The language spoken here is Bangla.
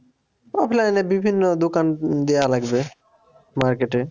Offline এ বিভিন্ন দোকান দেওয়া লাগবে market এ